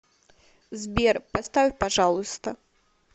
сбер поставь пожалуйста